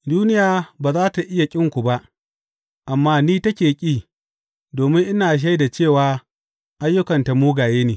Duniya ba za tă iya ƙinku ba, amma ni take ƙi domin ina shaida cewa ayyukanta mugaye ne.